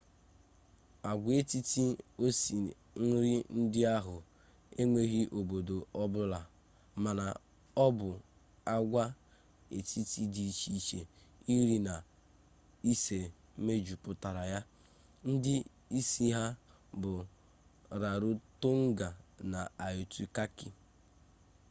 agwaetiti osi nri ndị ahụ enweghị obodo ọ bụla mana ọ bụ agwaetiti dị iche iche iri na ise mejupụtara ya ndị isi ha bụ rarotonga na aitutaki